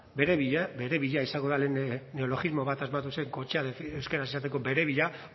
berebila berebila izango da lehen neologismo bat asmatu zait kotxea euskaraz esateko berebila